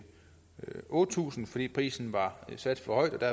otte tusind kr fordi prisen var sat for højt og der